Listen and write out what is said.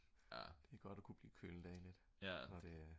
det er godt at kunne blive kølet af lidt